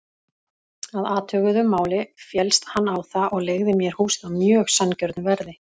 Að athuguðu máli féllst hann á það og leigði mér húsið á mjög sanngjörnu verði.